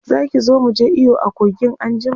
Zaki zo muje iyo a kogin anjima?